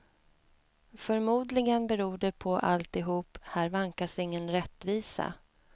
Förmodligen beror det på alltihop, här vankas ingen rättvisa.